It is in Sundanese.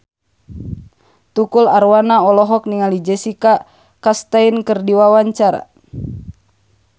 Tukul Arwana olohok ningali Jessica Chastain keur diwawancara